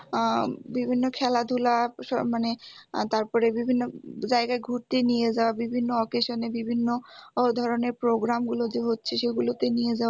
আহ বিভিন্ন খেলাধুলা মানে আহ তারপরে বিভিন্ন জায়গায় ঘুরতে নিয়ে যাওয়া বিভিন্ন occasion এ বিভিন্ন ধরনের program গুলো যে হচ্ছে সেগুলোতে নিয়ে যাওয়া